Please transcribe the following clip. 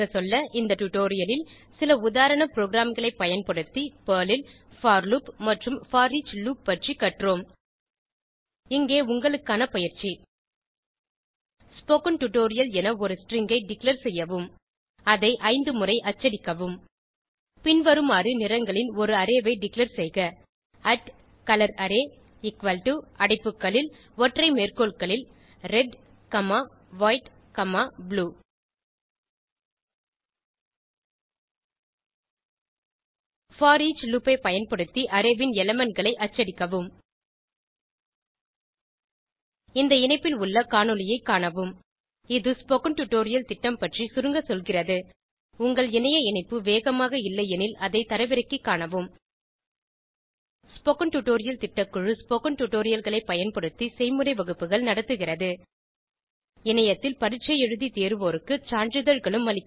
இந்த டுடோரியலில் சில உதாரண ப்ரோகிராம்களை பயன்படுத்தி பெர்ல் ல் போர் லூப் மற்றும் போரிச் லூப் பற்றி கற்றோம் இங்கே உங்களுக்கான பயிற்சி ஸ்போக்கன் டியூட்டோரியல் என ஒரு ஸ்ட்ரிங் ஐ டிக்ளேர் செய்யவும் அதை 5 முறை அச்சடிக்கவும் பின்வருமாறு நிறங்களின் ஒரு அரே ஐ டிக்ளேர் செய்க colorArray அடைப்புகளில ஒற்றை மேற்கோள்களில் red comma white comma blue foreach loop ஐ பயன்படுத்தி அரே ன் எலிமெண்ட் களை அச்சடிக்கவும் இந்த இணைப்பில் உள்ள காணொளியைக் காணவும் இது ஸ்போகன் டுடோரியல் திட்டம் பற்றி சுருங்க சொல்கிறது உங்கள் இணைய இணைப்பு வேகமாக இல்லையெனில் அதை தரவிறக்கிக் காணவும் ஸ்போகன் டுடோரியல் திட்டக்குழு ஸ்போகன் டுடோரியல்களைப் பயன்படுத்தி செய்முறை வகுப்புகள் நடத்துகிறது இணையத்தில் பரீட்சை எழுதி தேர்வோருக்கு சான்றிதழ்களும் அளிக்கிறது